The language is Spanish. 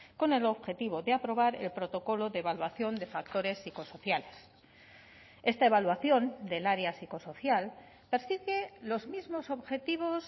con el objetivo de aprobar el protocolo de evaluación de factores psicosociales esta evaluación del área psicosocial persigue los mismos objetivos